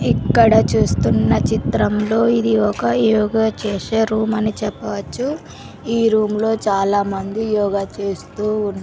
ఇక్కడ చూస్తున్న చిత్రంలో ఇది ఒక యోగా చేసే రూమ్ అని చెప్పవచ్చు ఈ రూమ్ లో చాలామంది యోగ చేస్తూ ఉన్--